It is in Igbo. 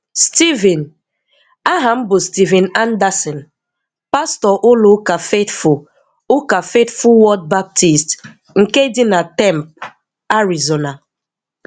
Steven: Aha m bụ Steven Anderson, pastor ụlọ ụka Faithful ụka Faithful Word Baptist nke dị na Tempe, Arizona.